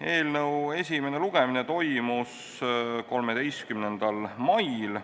Eelnõu esimene lugemine toimus 13. mail.